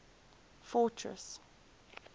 fortress